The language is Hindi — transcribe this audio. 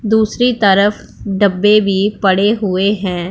दूसरी तरफ डब्बे भी एक पड़े हुए है।